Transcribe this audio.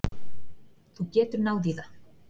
Þú getur náð í það.